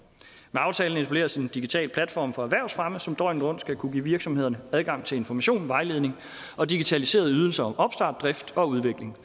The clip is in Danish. aftalen etableres en digital platform for erhvervsfremme som døgnet rundt skal kunne give virksomhederne adgang til information vejledning og digitaliserede ydelser om opstart drift og udvikling